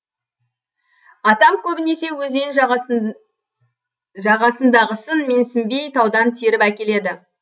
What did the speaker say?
атам көбінесе өзен жағасындағысын менсінбей таудан теріп әкеледі